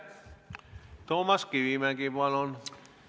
Toomas Kivimägi, palun!